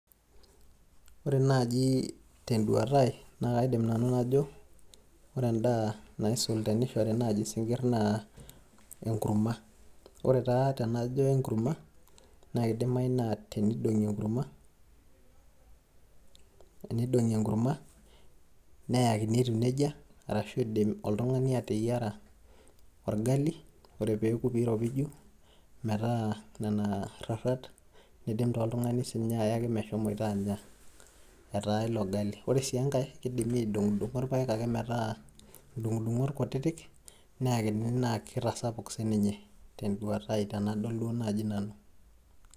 ore naaji teduata ai ore edaa sidai teneishori isinkir naa enkurma, ore taa tenajo enkurma, naa kidimayu naa tenidong'i enkurma, neyakini etiu nejia, ashu idim oltungani ateyiara orgali, metaa nena rarat, nidim taa ayaki meshomoito aanya etaa ilo ng'ali ore sii enkae, kidimi aidong'o irpaek metaa dung'uung'ot ake kutitik, neekini naa kitasapuk sii ninye.